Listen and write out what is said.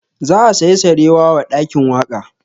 Za a saya sarewa wa ɗakin waƙa